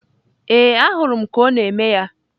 Ee, ahụrụ m ka ọ na-eme ya.